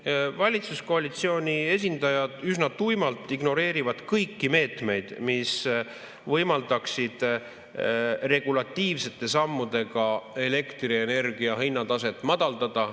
Ei, valitsuskoalitsiooni esindajad üsna tuimalt ignoreerivad kõiki meetmeid, mis võimaldaksid regulatiivsete sammudega elektrienergia hinnataset madaldada.